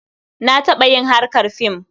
Na taɓa yin harkar fim.